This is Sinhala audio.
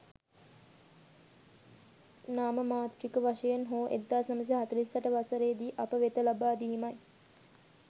නාමමාත්‍රික වශයෙන් හෝ 1948 වසරේදි අප වෙත ලබා දීමයි.